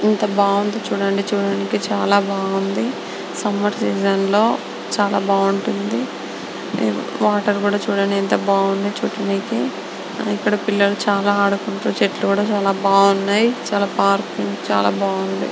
యెంత బాగుంది చూడడానికి చూడడానికి బాగుంది సమ్మర్ సీసాన్ లో చానా బాగుంటుంది వాటర్ కూడా ఎంతో బాగుంది .చూడడానికి పిల్లలు కూడా ఆదుకోవడానికి బాగుంది చెట్లు కూడా బాగుంది పార్క్ చాల బాగుండి. .>